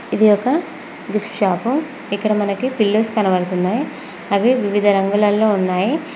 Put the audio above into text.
ఇది ఒక gifts shop ఇక్కడ మనకి పిల్లోస్ కనబడుతున్నాయి అవి వివిధ రంగులలో ఉన్నాయి.